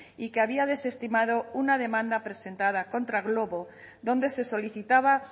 y que había desestimado una demanda presentada contra glovo donde se solicitaba